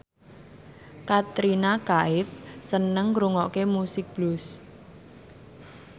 Katrina Kaif seneng ngrungokne musik blues